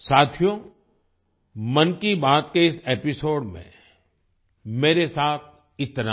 साथियो मन की बात के इस एपिसोड में मेरे साथ इतना ही